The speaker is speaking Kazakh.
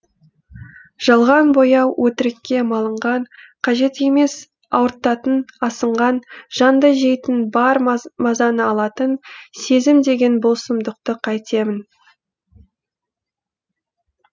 жалған бояу өтірікке малынған қажет емес ауыртатын асынған жанды жейтін бар мазаны алатын сезім деген бұл сұмдықты қайтемін